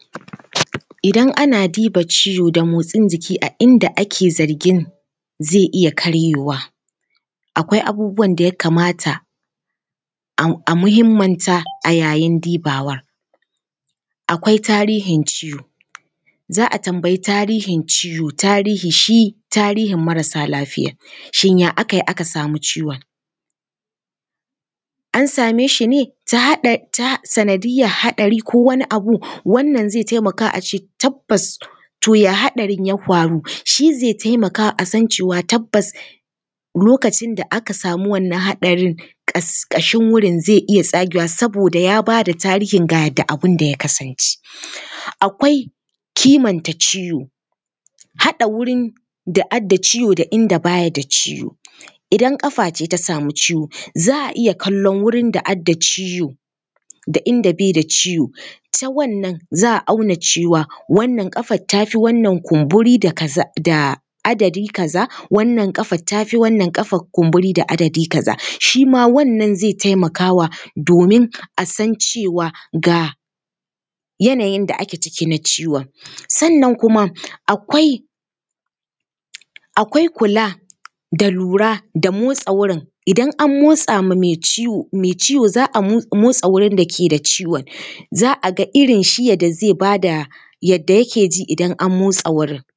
Idan ana diba ciwo da motsin jiki a inda ake zargin zai iya karyewa, akwai abubuwan da ya kamata a muhimmanta a yayin dibawa. Akwai tarihin ciwo, za a tambayi tarihin ciwo. Tarihi shi, tarihin marasa lafiya, shin ya aka yi aka samu ciwon? An same shi ne ta hanyar haɗari ko wani abu? Wannan zai taimaka a ce tabbas, to ya haɗarin ya hwaru? Shi zai taimaka a san cewa tabbas tabbas lokacin da anka samu wannan haɗarin ƙashin wurin zai iya tsagewa saboda ya bayar da tarihin ga yadda abin ya kasance. Akwai kimanta ciwo, haɗa wurin da adda ciwo da inda ba ya da ciwo, idan ƙafa ce ta samu ciwo, za a iya kallon wurin da adda ciwo da inda bai da ciwo, ta wannan za a auna cewa, wannan ƙafar ta fi wannan kumburi da kaza, da adadi kaza, wannan ƙafar ta fi wannan kumburi da adadi kaza, shi ma wannan zai taimakawa domin a san cewa ga yanayin da ake ciki na ciwon. Sannan kuma akwai, akwai kula da lura da motsa wurin, idan an motsa ma mai ciwo, mai ciwo za a motsa wurin da ke da ciwon, za a ga irin shi yadda zai ba da yadda yake ji idan an motsa wurin.